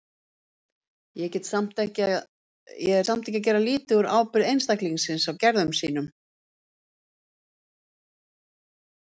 Ég er samt ekki að gera lítið úr ábyrgð einstaklingsins á gerðum sínum.